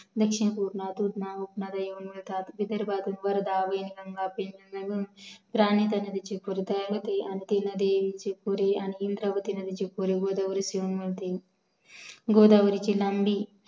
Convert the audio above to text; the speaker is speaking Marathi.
दक्षिन पूर्णा धारणा विदर्भातील वर्धा वेनगंगाती नदी चाकोरी आणि इंद्रावती नदी जी जी पुढे गोदावरी नदिस मिळते गोदावरीची लांबी